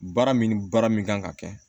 Baara min ni baara min kan ka kɛ